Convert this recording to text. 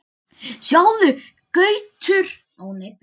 Sjáðu Gaukur, tvíburarnir eru ekki lengur alveg eins.